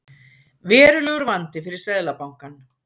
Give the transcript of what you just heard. Verulegur vandi fyrir Seðlabankann